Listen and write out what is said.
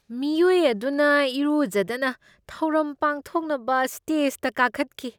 ꯃꯤꯑꯣꯏ ꯑꯗꯨꯅ ꯏꯔꯨꯖꯗꯅ ꯊꯧꯔꯝ ꯄꯥꯡꯊꯣꯛꯅꯕ ꯁ꯭ꯇꯦꯖꯗ ꯀꯥꯈꯠꯈꯤ꯫